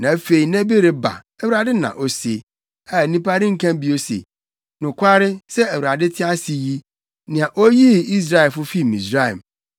Na afei nna bi reba,” Awurade na ose, “a nnipa renka bio se, ‘Nokware sɛ Awurade te ase yi, nea oyii Israelfo fii Misraim,’